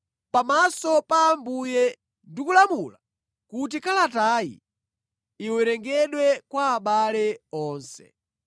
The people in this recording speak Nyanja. Pamaso pa Ambuye ndikulamula kuti kalatayi iwerengedwe kwa abale onse.